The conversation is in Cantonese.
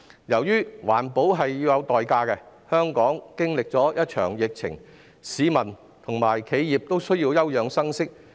由於環保是有代價的，香港經歷了一場疫情，市民及企業都需要休養生息。